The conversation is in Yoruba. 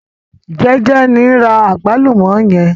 Jeje ni n ra àgbálùmọ́ yẹn.